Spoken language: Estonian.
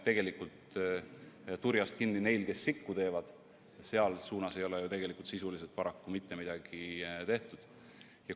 Selleks, et saaksime turjast kinni neil, kes sikku teevad, ei ole sisuliselt paraku mitte midagi tehtud.